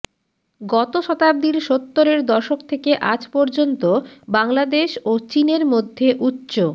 গত শতাব্দীর সত্তরের দশক থেকে আজ পর্যন্ত বাংলাদেশ ও চীনের মধ্যে উচ্চ